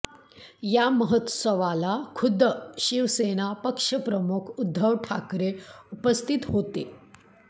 या महोत्सवाला खुद्द शिवसेना पक्षप्रमुख उद्धव ठाकरे उपस्थित होते